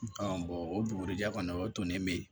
o bugurijɛ kɔni o tonnen be yen